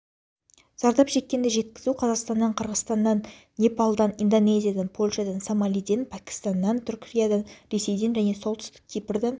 зардап шеккенді жеткізу қазақстаннан қырғызстаннан непалдан индонезиядан польшадан сомалиден пәкістаннан түркиядан ресейден және солтүстік кипрдан